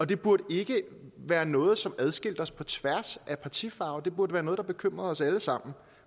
det burde ikke være noget som adskilte os på tværs af partifarve det burde være noget der bekymrede os alle sammen